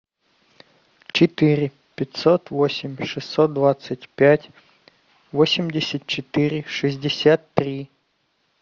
четыре пятьсот восемь шестьсот двадцать пять восемьдесят четыре шестьдесят три